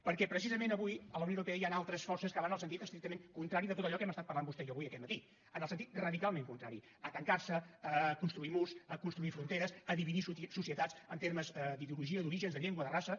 perquè precisament avui a la unió europea hi han altres forces que van en el sentit estrictament contrari de tot allò que hem estat parlant vostè i jo avui aquest matí en el sentit radicalment contrari a tancar se a construir murs a construir fronteres a dividir societats en termes d’ideologia d’orígens de llengua de raça